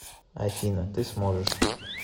афина ты сможешь